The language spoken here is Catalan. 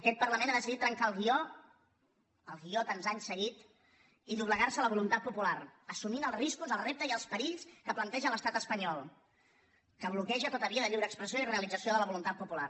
aquest parlament ha decidit trencar el guió el guió tants anys seguit i doblegarse a la voluntat popular assumint els riscos els reptes i els perills que planteja l’estat espanyol que bloqueja tota via de lliure expressió i realització de la voluntat popular